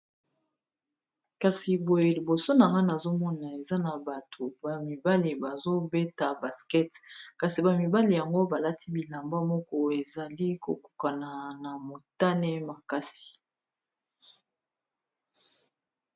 kasi boye liboso na ngane azomona eza na bato bamibale bazobeta basket kasi bamibale yango balati bilamba moko ezali kokukana na motane makasi